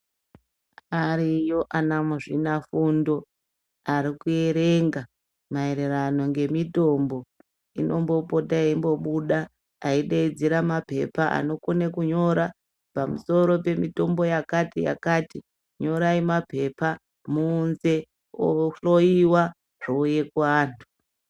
Ariyo ana muzvinabfundo maererano nemitombo inombopota eibuda Mapepa anokona kunyora pamusoro pemitombo yakati yakati torai mapepa muunze zvinohloiwa kuvantu.